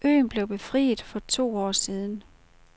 Øen blev befriet for to år siden.